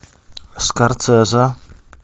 скорсезе